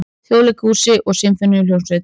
Þjóðleikhúsi og Sinfóníuhljómsveit.